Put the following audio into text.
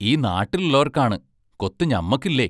ഈ നാട്ടിലൊള്ളാരെക്കാണ് കൊത്തു ഞമ്മക്കില്ലേ?